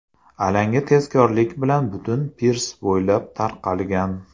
Alanga tezkorlik bilan butun pirs bo‘ylab tarqalgan.